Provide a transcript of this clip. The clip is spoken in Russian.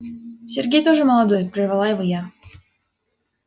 сергей тоже молодой прервала его я